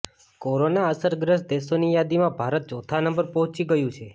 corona અસરગ્રસ્ત દેશોની યાદીમાં ભારત ચોથા નંબર પર પહોંચી ગયું છે